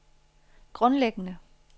grundlæggende